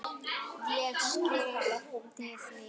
Ég skyrpti því.